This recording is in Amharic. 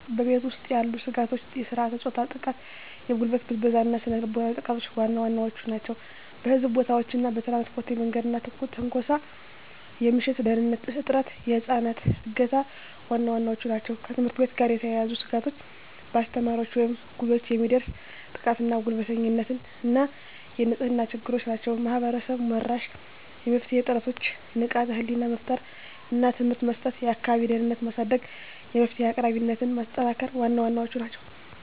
በቤት ውስጥ ያሉ ስጋቶች የሥርዓተ-ፆታ ጥቃ፣ የጉልበት ብዝበዛ እና ስነ ልቦናዊ ጥቃቶች ዋና ዋናዎቹ ናቸው። በሕዝብ ቦታዎች እና በትራንስፖርት የመንገድ ላይ ትንኮሳ፣ የምሽት ደህንንነት እጥረት፣ የህፃናት እገታ ዋና ዋናዎቹ ናቸው። ከትምህርት ቤት ጋር የተያያዙ ስጋቶች በአስተማሪዎች ወይም እኩዮች የሚደርስ ጥቃትና ጉልበተኝነት እና የንጽህና ችግሮች ናቸው። ማህበረሰብ-መራሽ የመፍትሄ ጥረቶች ንቃተ ህሊና መፍጠር እና ትምህርት መስጠት፣ የአካባቢ ደህንነትን ማሳደግ፣ የመፍትሄ አቅራቢነትን ማጠናከር ዋና ዋናዎቹ ናቸው።